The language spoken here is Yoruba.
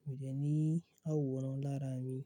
mi ò dẹ̀ ní àwòrán lára mi.